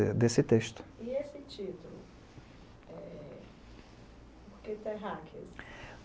Desse texto. E esse título? É, porque terráqueos?